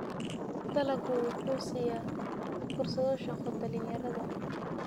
Dalaggu wuxuu siiyaa fursado shaqo dhalinyarada.